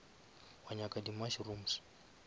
wa nyaka di mushrooms